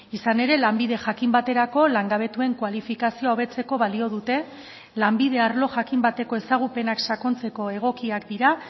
izan ere lanbide jakin baterako langabetuen kualifikazioa hobetzeko balio dute lanbide arlo jakin bateko ezagupenak sakontzeko egokiak dira